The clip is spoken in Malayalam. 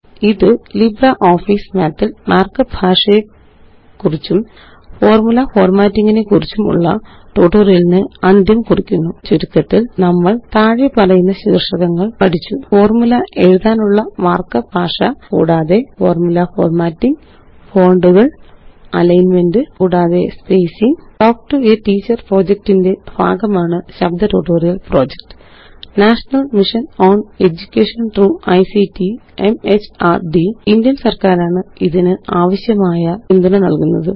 ഇത്LibreOffice Mathല് മാര്ക്കപ്പ് ഭാഷയെക്കുറിച്ചും ഫോര്മുല ഫോര്മാറ്റിങ്ങിനെക്കുറിച്ചുമുള്ള ട്യൂട്ടോറിയലിന് അന്ത്യം കുറിക്കുന്നു ചുരുക്കത്തില് നമ്മള് താഴെപ്പറയുന്ന ശീര്ഷകങ്ങള് പഠിച്ചു ഫോര്മുല എഴുതാനുള്ള മാര്ക്കപ്പ് ഭാഷ കൂടാതെ ഫോര്മുല ഫോര്മാറ്റിംഗ് ഫോണ്ടുകള് അലൈന്മെന്റ് കൂടാതെ spacing talk to a teacher project ന്റെ ഭാഗമാണ് ശബ്ദ ട്യൂട്ടോറിയൽ projectനേഷണൽ മിഷൻ ഓൺ എഡ്യൂകേഷൻ ത്രോഗ് ictമെഹർദ് ഇന്ത്യന് സര്ക്കാരാണ് ഇതിനാവശ്യമായ പിന്തുണ നല്കുന്നത്